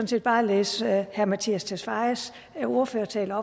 set bare læse herre mattias tesfayes ordførertale